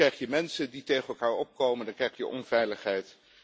u wil. Dan krijg je mensen die tegen elkaar opkomen. Dan krijg je onveiligheid.